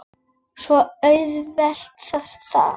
Svo auðvelt var það.